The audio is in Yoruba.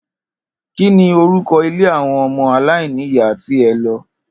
Kí ni orúko̩ ilé àwo̩n o̩mo̩ aláìníyàá tí e̩ lo̩?